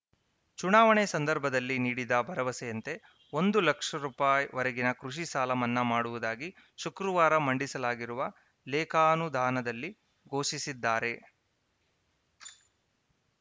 ಚುನಾವಣೆ ಸಂದರ್ಭದಲ್ಲಿ ನೀಡಿದ್ದ ಭರವಸೆಯಂತೆ ಒಂದು ಲಕ್ಷ ರುಪಾಯಿ ವರೆಗಿನ ಕೃಷಿ ಸಾಲ ಮನ್ನಾ ಮಾಡುವುದಾಗಿ ಶುಕ್ರವಾರ ಮಂಡಿಸಲಾಗಿರುವ ಲೇಖಾನುದಾನದಲ್ಲಿ ಘೋಷಿಸಿದ್ದಾರೆ